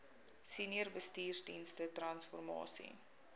senior bestuursdienste transformasie